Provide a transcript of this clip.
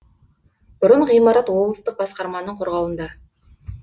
бұрын ғимарат облыстық басқарманың қорғауында